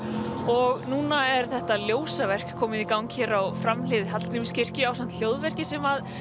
og núna er þetta komið í gang hér á framhlið Hallgrímskirkju ásamt hljóverki sem